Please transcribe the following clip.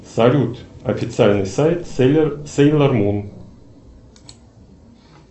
салют официальный сайт сейлор мун